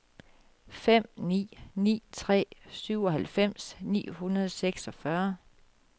fem ni ni tre syvoghalvfems ni hundrede og seksogfyrre